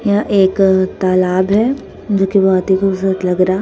यहां एक अ तालाब है जो कि बहुत ही खूबसूरत लग रहा --